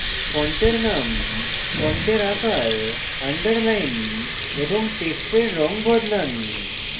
ফন্টের name ফন্টের আকার underline এবং টেক্সটের রঙ বদলান